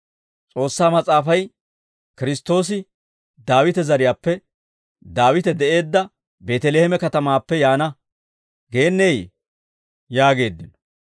S'oossaa Mas'aafay, ‹Kiristtoosi Daawite zariyaappe, Daawite de'eedda Beeteleeme katamaappe yaana› geenneyee?» yaageeddino.